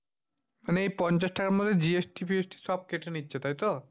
মানে এই পঞ্চাশ টাকার মধ্যে GST-FIST সব কেটে নিচ্ছে। তাইতো?